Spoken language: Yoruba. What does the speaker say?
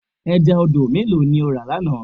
Ẹja odò mélòó ni o rà lánàá?